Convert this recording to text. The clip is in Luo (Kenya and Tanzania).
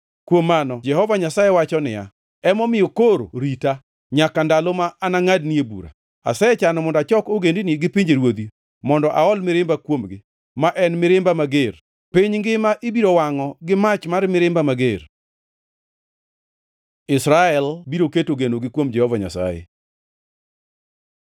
Kuom mano, Jehova Nyasaye wacho niya, “Emomiyo koro rita, nyaka ndalo ma anangʼadnie bura. Asechano mondo achok ogendini gi pinjeruodhi, mondo aol mirimba kuomgi, ma en mirimba mager. Piny ngima ibiro wangʼo gi mach mar mirimba mager. Israel biro keto genogi kuom Jehova Nyasaye